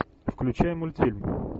включай мультфильм